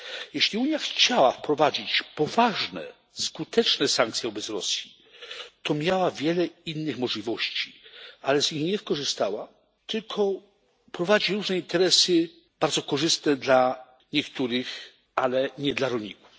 Jeśli Unia chciała wprowadzić poważne, skuteczne sankcje wobec Rosji, to miała wiele innych możliwości, ale z nich nie skorzystała, tylko prowadzi różne interesy bardzo korzystne dla niektórych, ale nie dla rolników.